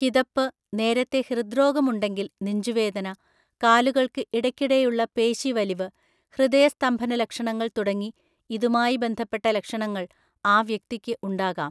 കിതപ്പ്, നേരത്തെ ഹൃദ്രോഗം ഉണ്ടെങ്കിൽ നെഞ്ചുവേദന, കാലുകൾക്ക് ഇടയ്ക്കിടെയുള്ള പേശിവലിവ്, ഹൃദയസ്തംഭനലക്ഷണങ്ങൾ തുടങ്ങി, ഇതുമായി ബന്ധപ്പെട്ട ലക്ഷണങ്ങൾ ആ വ്യക്തിക്ക് ഉണ്ടാകാം.